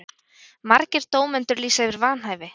Margir dómendur lýsa yfir vanhæfi